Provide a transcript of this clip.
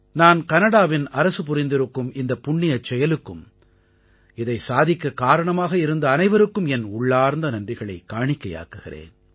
நான் கனடாவின் அரசு புரிந்திருக்கும் இந்தப் புண்ணியச் செயலுக்கும் இதைச் சாதிக்கக் காரணமாக இருந்த அனைவருக்கும் என் உள்ளார்ந்த நன்றிகளைக் காணிக்கையாக்குகிறேன்